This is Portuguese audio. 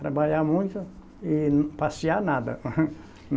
Trabalhar muito e passear nada.